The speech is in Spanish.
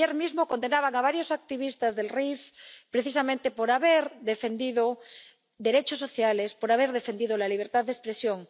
Ayer mismo condenaban a varios activistas del Rif precisamente por haber defendido derechos sociales, por haber defendido la libertad de expresión.